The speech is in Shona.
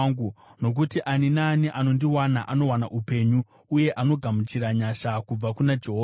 Nokuti ani naani anondiwana anowana upenyu uye anogamuchira nyasha kubva kuna Jehovha.